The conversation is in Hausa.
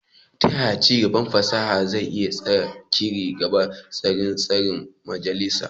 Ta yaya ci gaban fasaha zai iya tasiri ga tsarin tsarin majalisa?